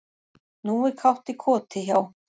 Nú er kátt í koti hjá